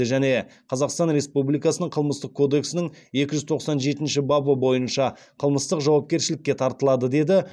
және қазақстан республикасының қылмыстық кодексінің екі жүз тоқсан жетінші бабы бойынша қылмыстық жауапкершілікке тартылады деді